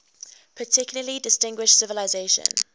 particularly distinguished civilization